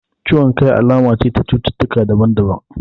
Ciwon kai alama ce ta cututtaka daban daban